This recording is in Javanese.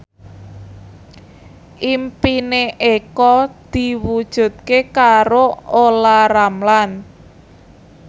impine Eko diwujudke karo Olla Ramlan